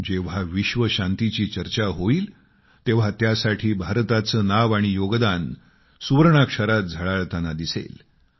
जेव्हा विश्व शांतीची चर्चा होईल तेव्हा त्यासाठी भारताचे नाव आणि योगदान सुवर्णाक्षरात झळाळताना दिसेल